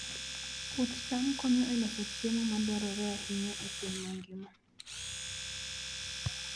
Puoth cham konyo e loso chiemo madwarore ahinya e piny mangima.